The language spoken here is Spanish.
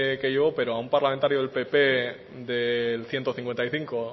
que llevo pero a un parlamentario del pp del ciento cincuenta y cinco